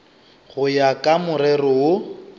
go ya ka morero wo